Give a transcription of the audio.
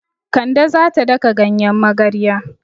Kande za ta daka ganyen magarya.